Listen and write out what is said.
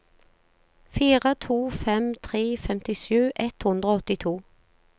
fire to fem tre femtisju ett hundre og åttito